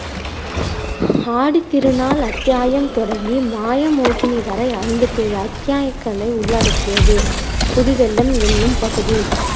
ஆடித்திருநாள் அத்தியாயம் தொடங்கி மாய மோகினி வரை ஐம்பத்தி ஏழு அத்தியாயக்களை உள்ளடக்கியது. புது வெள்ளம் என்னும் பகுதி